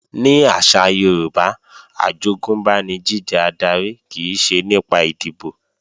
Ní àṣà Yorùbá, àjogúnbá ni jíjẹ adarí kìí ṣe nípa ìdìbò